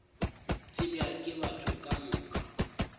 tsebja ke batho ka moka